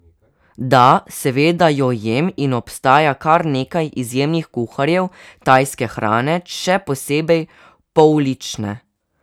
Da, seveda jo jem, in obstaja kar nekaj izjemnih kuharjev tajske hrane, še posebej poulične.